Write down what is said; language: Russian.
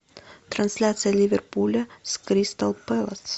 трансляция ливерпуля с кристал пэлас